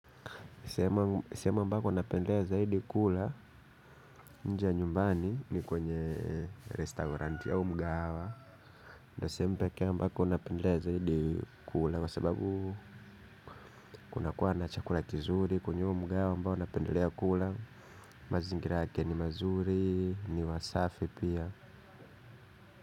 Sehemu ambapo napendelea zaidi kula nje ya nyumbani ni kwenye restauranti au mgahawa. Ndio sehemu pekee ambako napendelea zaidi kula kwa sababu kunakuwa na chakula kizuri kwenye huo mgahawa ambao napendelea kula. Mazingira yake ni mazuri ni wasafi pia.